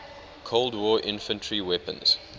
cold war infantry weapons